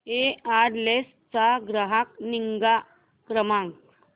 Aircel चा ग्राहक निगा क्रमांक